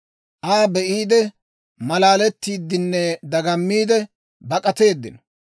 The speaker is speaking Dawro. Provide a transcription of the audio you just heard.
Aa be'iide, maalalettiidinne dagammiide, bak'ateeddino.